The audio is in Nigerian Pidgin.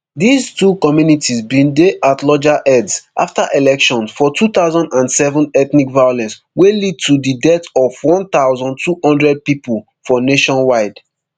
these two communities bin dey at loggerheads afta elections for two thousand and seven ethnic violence wey lead to di death of one thousand, two hundred pipo for nationwide